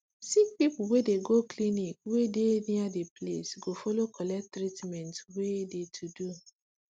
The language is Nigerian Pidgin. sick people wey de go clinic wey de live near de place go follow collect treatment wey de to do